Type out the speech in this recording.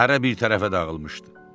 Hərə bir tərəfə dağılmışdı.